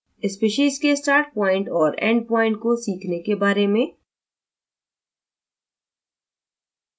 species के start point और end point को सीखने के बारे में